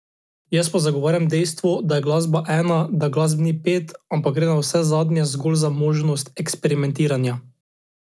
Jaz pa zagovarjam dejstvo, da je glasba ena, da glasb ni pet, ampak gre navsezadnje zgolj za možnost eksperimentiranja.